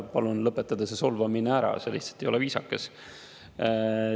Palun lõpetada see solvamine ära, see lihtsalt ei ole viisakas.